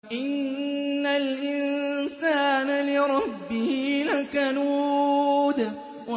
إِنَّ الْإِنسَانَ لِرَبِّهِ لَكَنُودٌ